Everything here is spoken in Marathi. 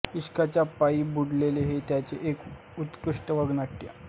इश्काच्या पायी बुडाले हे त्यांचे एक उत्कृष्ट वगनाट्य